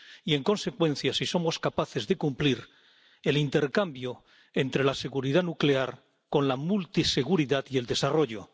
Y, en consecuencia, si somos capaces de cumplir el intercambio entre la seguridad nuclear con la multiseguridad y el desarrollo.